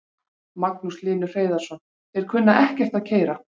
Magnús Hlynur Hreiðarsson: Þeir kunna ekkert að keyra?